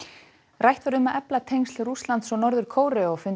rætt var um að efla tengsl Rússlands og Norður Kóreu á fundi